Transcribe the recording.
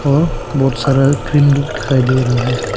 और बहुत सारा क्रीम लुक दिखाई दे रहा है।